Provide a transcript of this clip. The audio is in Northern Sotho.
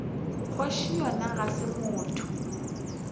kgoši yona ga se motho